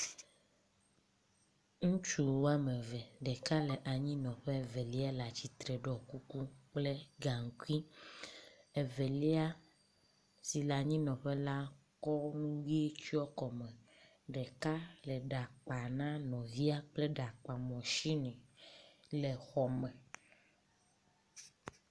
Ŋutsu woame eve, ɖeka le ɖa kpa na nɔ….